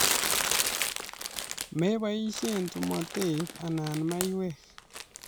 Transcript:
Mepoishe tomotet anan maiyek